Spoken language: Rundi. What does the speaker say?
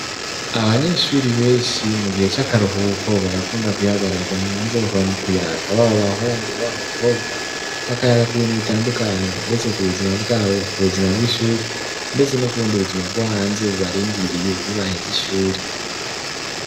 Abanyeshuri benshi mu gihe c'akaruhuko barakunda kwihagararira hanze bakaba mu kuyaga baba abahungu baba abakobwa bakayaga ku bintu bitandukanye ndetse ku buzima bwabo, ku buzima bwishuri ndetse no kubundi buzima bwo hanze bubarindiriye nibaheze ishuri